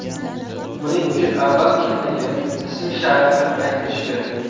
Buning uchun avval kimligi, ism-sharifi aytilishi kerak.